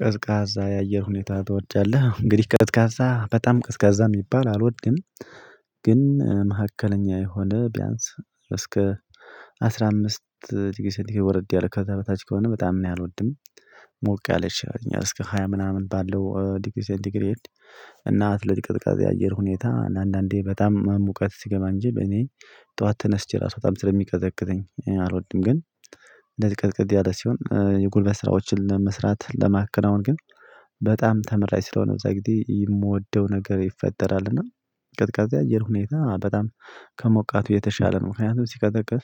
ቀዝቃዛ የአየር ሁኔታ ትወዳለህ? እንግዲህ ቀዝቃዛ በጣም ቀዝቃዛ የሚባል አልወድም፤ ግን መካከለኛ የሆነ ቢያንስ እስከ አስራ አምስት ዲግሪ ሴንቲ ግሬድ ወረድ ያለ ከዛ በታች ከሆነ በጣም እኔ አልወድም። ሞቅ ያለች እኛ እስከ ሃያ ምናምን ባለው ዲግሪ ሴንቲ ግሬድ እና ስለዚህ ቅዝቃዜ አየር ሁኔታ አንዳንዴ በጣም ሙቀት ሲገባ እንጂ በኔ ጠዋት ተነስቼ ራሱ በጣም ስለሚቀዘቅዘኝ አልወድም፤ ግን እንደዚህ ቅዝቅዝ ያለ ሲሆን የጉልበት ስራዎችን ለመስራት ለማከናወን ግን በጣም ተመራጭ ስለሆነ የዛ ጊዜ የምወደው ነገር ይፈጠራል፤ እና ቀዝቃዛ የአየር ሁኔታ በጣም ከሞቃቱ የተሻለ ነው። ምክንያቱም ሲቀዘቅዝ